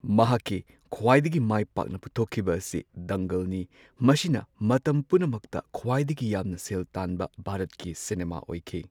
ꯃꯍꯥꯛꯀꯤ ꯈ꯭ꯋꯥꯏꯗꯒꯤ ꯃꯥꯢ ꯄꯥꯛꯅ ꯄꯨꯊꯣꯛꯈꯤꯕꯁꯤ ꯗꯪꯒꯜꯅꯤ ꯫ ꯃꯁꯤꯅ ꯃꯇꯝ ꯄꯨꯝꯅꯃꯛꯇ ꯈ꯭ꯋꯥꯏꯗꯒꯤ ꯌꯥꯝꯅ ꯁꯦꯜ ꯇꯥꯟꯕ ꯚꯥꯔꯠꯀꯤ ꯁꯤꯅꯦꯃꯥ ꯑꯣꯏꯈꯤ꯫